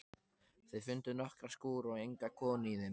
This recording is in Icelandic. Þau fundu nokkra skúra en enga konu í þeim.